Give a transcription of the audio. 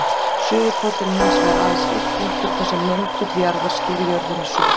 Suðurpóllinn er hins vegar aðeins einn punktur þar sem möndull jarðar sker jörðina í suðri.